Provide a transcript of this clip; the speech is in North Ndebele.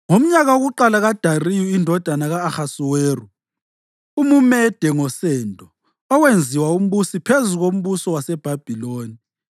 Ngomnyaka wokuqala kaDariyu indodana ka-Ahasuweru (umuMede ngosendo), owenziwa umbusi phezu kombuso waseBhabhiloni